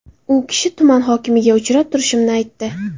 U kishi tuman hokimiga uchrab turishimni aytdi.